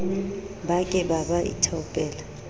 ba ke ba ba ithaopela